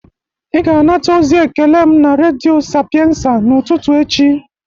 Ị ga-anata ozi ekele m na Redio Sapiensa n'ụtụtụ echi.